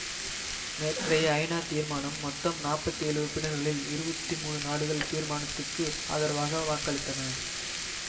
நேற்றைய ஐநா தீர்மானம் மொத்தம் நாற்பத்தி ஏழு உறுப்பினர்களில் இருபத்தி மூன்று நாடுகள் தீர்மானத்துக்கு ஆதரவாக வாக்களித்தன